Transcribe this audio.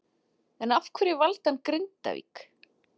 En af hverju valdi hann Grindavík?